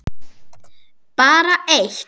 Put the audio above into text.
Bara eitt